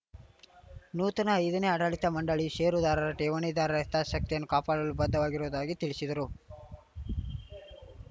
ನೂತನ ಐದನೇ ಆಡಳಿತ ಮಂಡಳಿಯು ಷೇರುದಾರರ ಠೇವಣಿದಾರರ ಹಿತಾಸಕ್ತಿಯನ್ನು ಕಾಪಾಡಲು ಬದ್ಧವಾಗಿರುವುದಾಗಿ ತಿಳಿಸಿದರು